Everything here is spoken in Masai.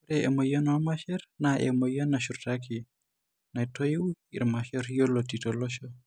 Ore emuoyian oormasher naa emuoyian nashurtaki naitoiu irmasher yioloti aisul tolosho.